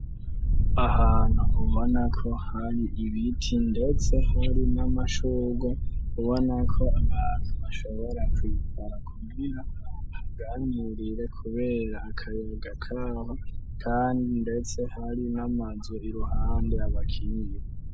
Ahantu ubonako hari ibiti, ndetse hari n'amashuga ubona ko abantumashobora kwizara kubwira aganurire, kubera akayaga kaho, kandi, ndetse hari n'amazo iruhande abakinji.